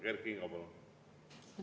Kert Kingo, palun!